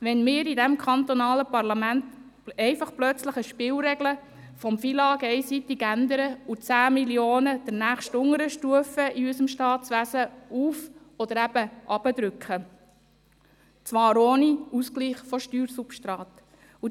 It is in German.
Wenn wir in diesem kantonalen Parlament einfach plötzlich eine Spielregel des FILAG einseitig ändern und 10 Mio. Franken der nächstunteren Stufe unseres Staatswesens auf- oder eben hinunterdrücken, und zwar ohne Ausgleich von Steuersubstraten …